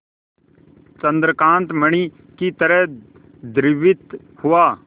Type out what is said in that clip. चंद्रकांत मणि ही तरह द्रवित हुआ